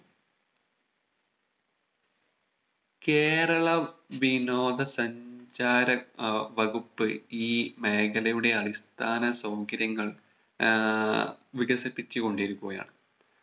കേരള വിനോദ സഞ്ചാര ആഹ് വകുപ്പ് ഈ മേഖലയുടെ അടിസ്ഥാന സൗകര്യങ്ങൾ ആഹ് വികസിപ്പിച്ചു കൊണ്ടിരിക്കുകയാണ്